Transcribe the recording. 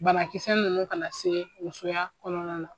Barakisɛ ninnu ka na se musoya kɔnɔna na